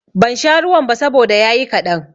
Ban sha ruwan ba saboda ya yi kaɗan.